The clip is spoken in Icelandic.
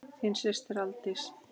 Þín systir, Aldís.